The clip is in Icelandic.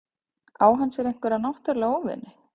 Á hann sér einhverja náttúrulega óvini?